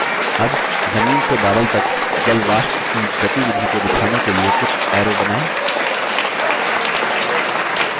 अब जमीन से बादल तक जलवाष्प की गतिविधि को दिखाने के लिए कुछ arrows बनाएँ